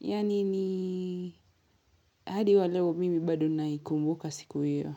yani ni hadi waleo mimi bado naikumbuka siku hiyo.